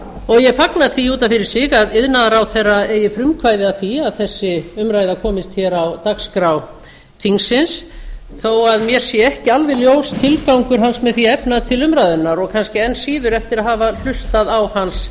og ég fagna því út af fyrir sig að iðnaðarráðherra eigi frumkvæði að því að þess umræða komist hér á dagskrá þingsins þó að mér sé ekki alveg ljós tilgangur hans með því að efna til umræðunnar og kannski enn síður eftir að hafa hlustað á hans